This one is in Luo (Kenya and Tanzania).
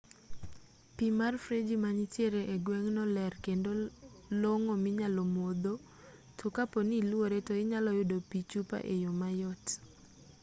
pi mar freji manitiere e gweng'no ler kendo long'o minyalo modho to kapo ni iluore to inyalo yudo pi chupa e yo mayot